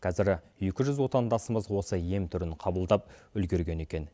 қазір екі жүз отандасымыз осы ем түрін қабылдап үлгерген екен